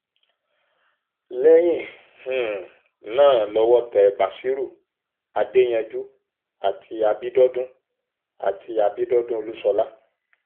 lẹ́yìn um náà lọ́wọ́ tẹ basírú adéyanjú àti abidọdùn àti abidọdùn olúṣọlá